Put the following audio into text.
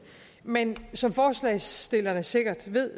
men som forslagsstillerne sikkert ved